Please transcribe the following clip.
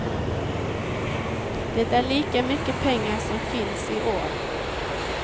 Det är lika mycket pengar som finns i år.